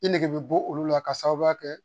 I nege bɛ bɔ olu la k'a sababuya kɛ